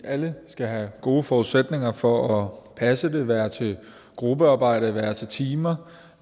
alle skal have gode forudsætninger for at passe det være til gruppearbejde være til timer